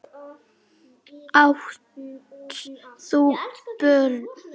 Átt þú börn?